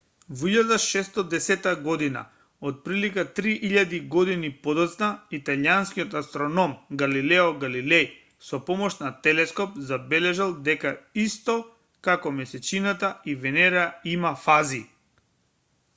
во 1610 година отприлика три илјади години подоцна италијанскиот астроном галилео галилеј со помош на телескоп забележал дека исто како месечината и венера има фази